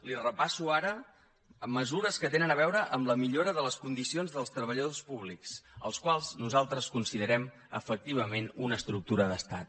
li repasso ara amb mesures que tenen a veure amb la millora de les condicions dels treballadors públics els quals nosaltres considerem efectivament una estructura d’estat